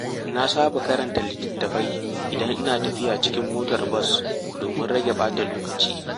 Na saba karanta litattafai idan ina tafiya cikin motar bas domin rage ɓata lokaci.